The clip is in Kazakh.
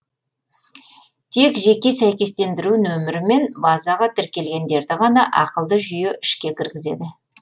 тек жеке сәйкестендіру нөмірімен базаға тіркелгендерді ғана ақылды жүйе ішке кіргізеді